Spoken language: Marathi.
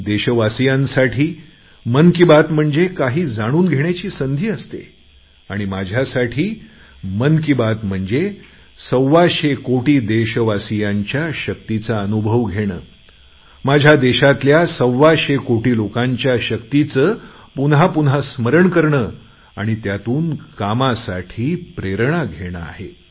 देशवासीयांसाठी मन की बात म्हणजे काही जाणून घेण्याची संधी असते माझ्यासाठी मात्र मन की बात म्हणजे सव्वाशे कोटी देशवासियांच्या शक्तीचा अनुभव घेणे माझ्या देशातल्या सव्वाशे कोटी लोकांच्या शक्तीचं पुन्हा पुन्हा स्मरण करणे आणि त्यातून कामासाठी प्रेरणा घेणे आहे